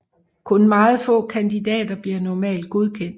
Kun meget få kandidater bliver normalt godkendt